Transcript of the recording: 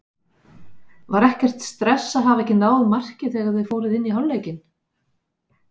Var ekkert stress að hafa ekki náð marki þegar þið fóruð inn í hálfleikinn?